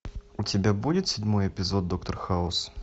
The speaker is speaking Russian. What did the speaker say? у тебя будет седьмой эпизод доктор хаус